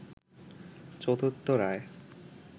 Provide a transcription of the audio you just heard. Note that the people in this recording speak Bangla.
চতুর্থ রায়